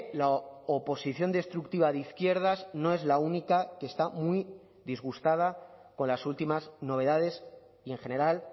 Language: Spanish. la oposición destructiva de izquierdas no es la única que está muy disgustada con las últimas novedades y en general